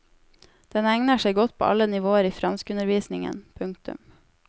Den egner seg godt på alle nivåer i franskundervisningen. punktum